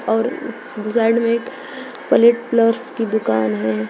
और साइड में एक प्लेट प्लस की दुकान है।